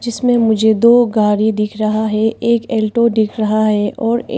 इसमें मुझे दो गाड़ी दिख रहा है एक एल्टो दिख रहा है और ए--